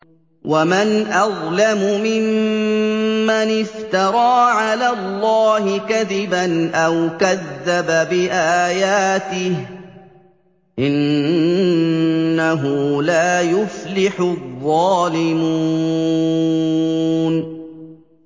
وَمَنْ أَظْلَمُ مِمَّنِ افْتَرَىٰ عَلَى اللَّهِ كَذِبًا أَوْ كَذَّبَ بِآيَاتِهِ ۗ إِنَّهُ لَا يُفْلِحُ الظَّالِمُونَ